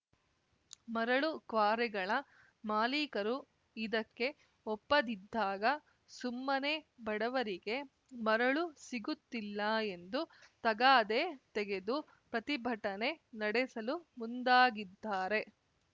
ಮರಳು ಕ್ವಾರೆಗಳ ಮಾಲೀಕರು ಇದಕ್ಕೆ ಒಪ್ಪದಿದ್ದಾಗ ಸುಮ್ಮನೆ ಬಡವರಿಗೆ ಮರಳು ಸಿಗುತ್ತಿಲ್ಲ ಎಂದು ತಗಾದೆ ತೆಗೆದು ಪ್ರತಿಭಟನೆ ನಡೆಸಲು ಮುಂದಾಗಿದ್ದಾರೆ